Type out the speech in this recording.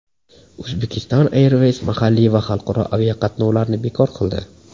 Uzbekistan Airways mahalliy va xalqaro aviaqatnovlarni bekor qildi.